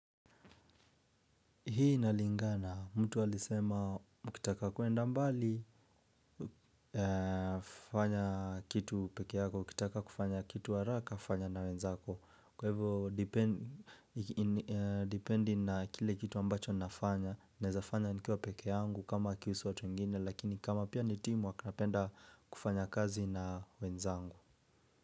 Hii nalingana, mtu walisema mkitaka kuenda mbali fanya kitu peke yako, mkitaka kufanya kitu waraka, kufanya na wenzako. Kwa hivyo, dipendi na kile kitu ambacho nafanya, nezafanya nikiwa peke yangu kama kihusu watu ngini, lakini kama pia ni timu wakinapenda kufanya kazi na wenzangu.